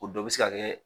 O dɔ bɛ se ka kɛ